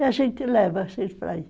E a gente leva sempre para aí.